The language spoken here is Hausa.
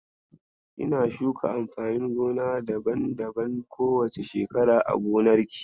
Kina shuka amfanin gona daban-daban ko wace shekara a gonarki?